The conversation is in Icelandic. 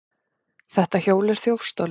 Þetta hjól er þjófstolið!